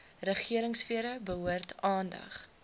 regeringsfere behoort aandag